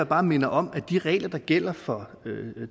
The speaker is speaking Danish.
bare minder om at de regler der gælder for